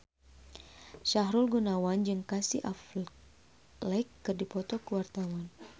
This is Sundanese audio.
Sahrul Gunawan jeung Casey Affleck keur dipoto ku wartawan